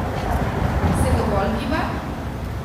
Se dovolj giba?